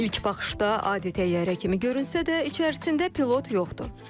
İlk baxışdan adi təyyarə kimi görünsə də, içərisində pilot yoxdur.